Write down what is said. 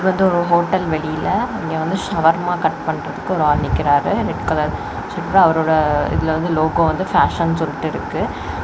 இது வந்து ஒரு ஹோட்டல் வெளிலெ இங்க வந்து ஹவர்மா கட் பண்றதுக்கு ஒரு ஆள் நிக்கிறாரு ரெட் கலர் ட்ஷிர்ட் அவரோடா இதுல வந்து லோகோ வந்து ஃபேஷன்னு சொல்லிட்டு இருக்கு.